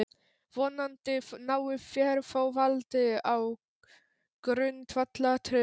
Vonandi náið þér þó valdi á grundvallaratriðum.